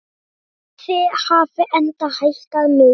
Verðið hafi enda hækkað mikið.